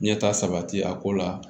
Ɲɛta sabati a ko la